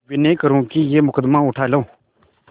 विनय करुँ कि यह मुकदमा उठा लो